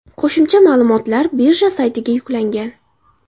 Qo‘shimcha ma’lumotlar birja saytiga yuklangan.